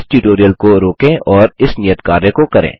इस ट्यूटोरियल को रोकें और इस नियत कार्य को करें